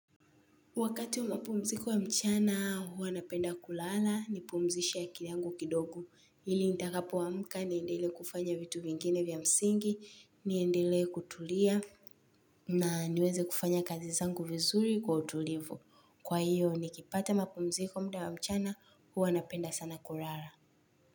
Wakati wa mapumziko wa mchana huwa napenda kulala nipumzisha akili yangu kidogo ili nitakapo amka niendele kufanya vitu vingine vya msingi niendele kutulia na niweze kufanya kazi zangu vizuri kwa utulivu. Kwa hiyo nikipata mapumziko mda wa mchana huwa napenda sana kulala.